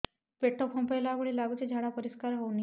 ପେଟ ଫମ୍ପେଇଲା ଭଳି ଲାଗୁଛି ଝାଡା ପରିସ୍କାର ହେଉନି